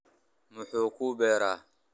Muxuu ku beeray?